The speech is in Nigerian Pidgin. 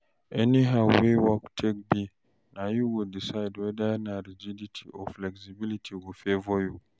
anyhow wey work take be na yu go decide weda na rigidity or flexibility go favor you